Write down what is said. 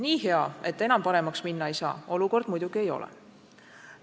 Nii hea, et enam paremaks minna ei saa, olukord muidugi ei ole.